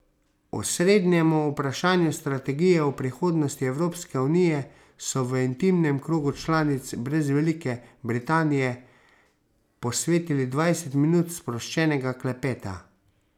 Osrednjemu vprašanju strategije o prihodnosti Evropske unije so v intimnem krogu članic brez Velike Britanije posvetili dvajset minut sproščenega klepeta.